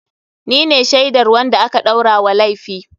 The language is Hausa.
Ni ne shaidar wanda aka ɗaura wa laifi.